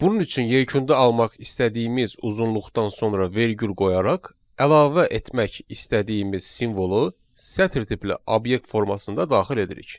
Bunun üçün yekunda almaq istədiyimiz uzunluqdan sonra vergül qoyaraq əlavə etmək istədiyimiz simvolu sətir tipli obyekt formasında daxil edirik.